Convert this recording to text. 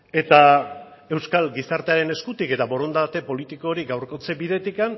eta euskal gizartearen eskutik eta borondate politikorik gaurkotze bidetik